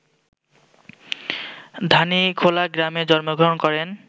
ধানীখোলা গ্রামে জন্মগ্রহণ করেন